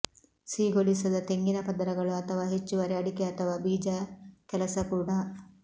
ಸಿಹಿಗೊಳಿಸದ ತೆಂಗಿನ ಪದರಗಳು ಅಥವಾ ಹೆಚ್ಚುವರಿ ಅಡಿಕೆ ಅಥವಾ ಬೀಜ ಕೆಲಸ ಕೂಡ